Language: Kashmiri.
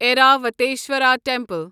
ایراوتصورا ٹیمپل